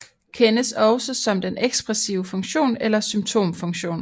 Kendes også som den ekspressive funktion eller symptomfunktion